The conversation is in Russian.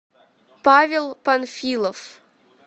павел панфилов